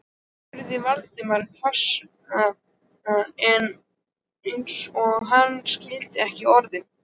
spurði Valdimar, hvumsa eins og hann skildi ekki orðin.